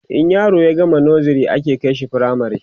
in yaro ya gama nursery ake kaishi firamare